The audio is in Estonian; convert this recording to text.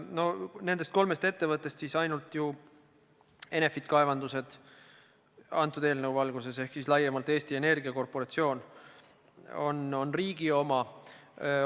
No nendest kolmest ettevõttest ainult Enefit Kaevandused ehk siis laiemalt Eesti Energia korporatsioon on riigi oma.